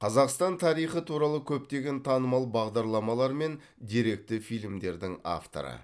қазақстан тарихы туралы көптеген танымал бағдарламалар мен деректі фильмдердің авторы